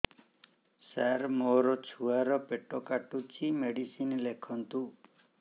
ସାର ମୋର ଛୁଆ ର ପେଟ କାଟୁଚି ମେଡିସିନ ଲେଖନ୍ତୁ